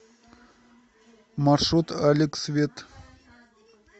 маршрут алекс вет